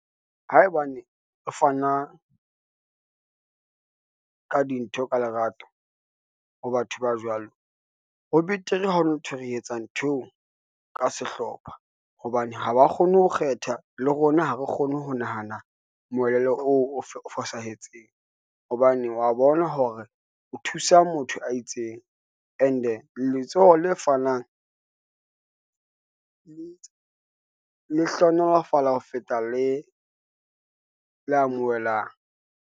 Haebane e fana ka di ntho ka lerato ho batho ba jwalo, ho betere ha hona nthwe re etsa nthweo ka sehlopha, hobane haba kgone ho kgetha le rona ha re kgone ho nahana moelelo oo o fosahetseng, hobane wa bona hore o thusa motho a itseng, and-e letsoho le fanang le hlohonolofatsa ho feta le amohelang.